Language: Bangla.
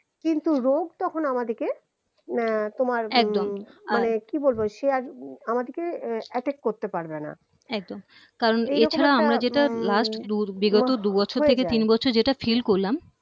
কিন্তু রোগ তখন আমাদেরকে উম তোমার একদম উম মানে কি বলবো সে আর আমাদিকে attack করতে পারবেনা একদম যেটা feel করলাম